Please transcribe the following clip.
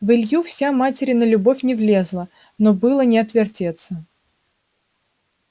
в илью вся материна любовь не влезала но было не отвертеться